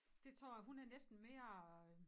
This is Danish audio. Dét tror jeg hun er næsten mere øh